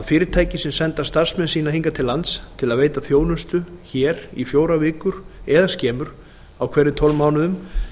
sem senda starfsmenn sína hingað til lands til að veita þjónustu hér í fjórar vikur eða skemur á hverjum tólf mánuðum